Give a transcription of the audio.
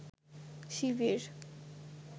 শিবির